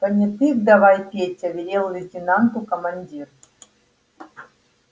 понятых давай петя велел лейтенанту командир